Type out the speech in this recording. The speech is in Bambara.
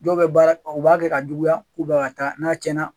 Dɔw bɛ baara kɛ, u b'a kɛ ka juguya, ka taa n'a tiɲɛna.